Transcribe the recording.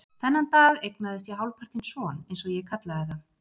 Þennan dag eignaðist ég hálfpartinn son, eins og ég kallaði það.